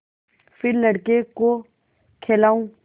फिर लड़के को खेलाऊँ